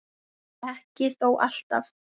Ekki þó alltaf.